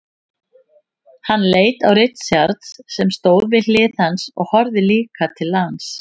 Hann leit á Richard sem stóð við hlið hans og horfði líka til lands.